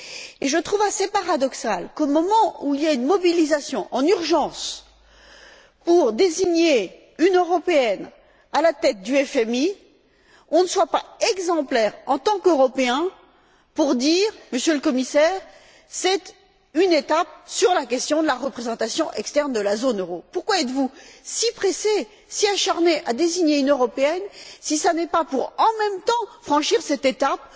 Et je trouve assez paradoxal qu'au moment où il y a une mobilisation en urgence pour désigner une Européenne à la tête du FMI nous ne soyons pas exemplaires, en tant qu'Européens, pour dire, Monsieur le Commissaire, c'est une étape sur la question de la représentation extérieure de la zone euro. Pourquoi êtes vous si pressé, si acharné à désigner une Européenne si ce n'est pas pour, en même temps, franchir cette étape